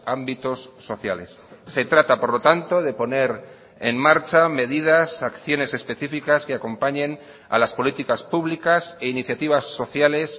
ámbitos sociales se trata por lo tanto de poner en marcha medidas acciones específicas que acompañen a las políticas públicas e iniciativas sociales